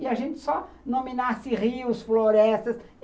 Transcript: E a gente só nominasse rios, florestas.